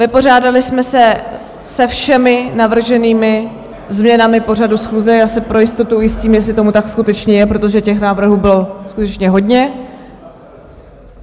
Vypořádali jsme se se všemi navrženými změnami pořadu schůze, já se pro jistotu ujistím, jestli tomu tak skutečně je, protože těch návrhů bylo skutečně hodně.